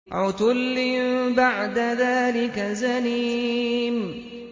عُتُلٍّ بَعْدَ ذَٰلِكَ زَنِيمٍ